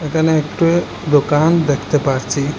এখানে একটা দোকান দেখতে পারছি।